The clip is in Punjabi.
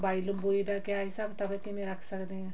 ਲੰਬਾਈ ਲੁੰਬਾਈ ਦਾ ਕਿਆ ਹਿਸਾਬ ਕਿਤਾਬ ਕਿਵੇਂ ਰੱਖ ਸਕਦੇ ਹਾਂ